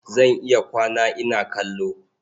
Zan iya kwana ina kallo.